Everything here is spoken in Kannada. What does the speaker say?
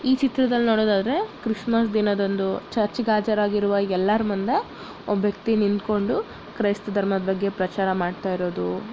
ಈ ಚಿತ್ರದಲ್ಲಿನೋಡೋದಾದ್ರೆ ಕ್ರಿಸ್ಮಸ್ ದಿನದಂದು ಚರ್ಚ್ ಗೆ ಹಾಜರಾಗಿರುವ ಎಲ್ಲರ್ ಮುಂದೆ ಒಬ್ಬ ವ್ಯಕ್ತಿ ನಿಂತ್ಕೊಂಡು ಕ್ರೈಸ್ತ ಧರ್ಮದ ಬಗ್ಗೆ ಪ್ರಚಾರ ಮಾಡ್ತಾ ಇರೋದು--